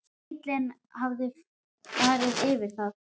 Bíllinn hafði farið yfir það.